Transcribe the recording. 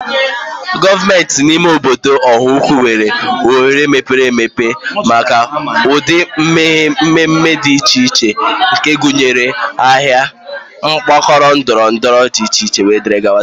Gọọmenti ime obodo Ọhaukwu nwere oghere mepere emepe maka ụdị mmemme dị iche iche nke gụnyere: Ahịa, Mgbakọ ndọrọ ndọrọ ọchịchị, wdg.